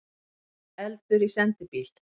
Eldur í sendibíl